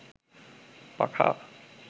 পাখা